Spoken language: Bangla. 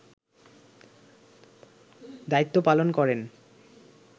দায়িত্ব পালন করেন